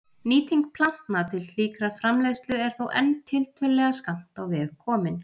Nýting plantna til slíkrar framleiðslu er þó enn tiltölulega skammt á veg komin.